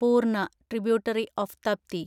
പൂർണ (tributary of Tapti)